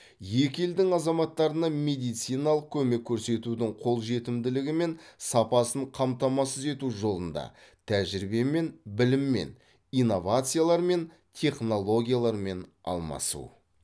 екі елдің азаматтарына медициналық көмек көрсетудің қолжетімділігі мен сапасын қамтамасыз ету жолында тәжірибемен біліммен инновациялармен технологиялармен алмасу